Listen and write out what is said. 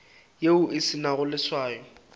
yeo e se nago leswao